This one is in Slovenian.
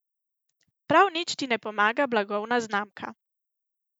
Prav nič ti ne pomaga blagovna znamka ...